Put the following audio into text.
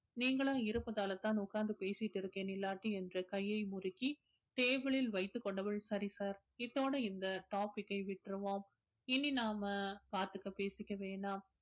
நீங்களா இருப்பதாலதான் உட்கார்ந்து பேசிட்டு இருக்கேன் இல்லாட்டி என்ற கையை முறுக்கி table ல் வைத்துக் கொண்டவள் சரி sir இதோட இந்த topic அ விட்டுருவோம் இனி நாம் இனி நாம பாத்துக்க பேசிக்க வேணாம்